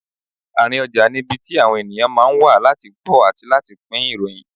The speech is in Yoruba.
Àárín ọjà ni ibi tí àwọn ènìyàn ma ń wá láti gbọ́ àti láti pín ìròyìn.